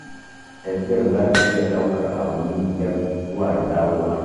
Tafiyar za ta iya ɗaukar awanni biyar, zuwa da dawowa.